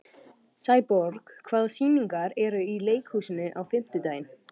Sæborg, hvaða sýningar eru í leikhúsinu á fimmtudaginn?